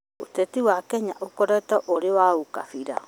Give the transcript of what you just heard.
ũteti wa Kenya ũkoretwo ũrĩ wa ũkabira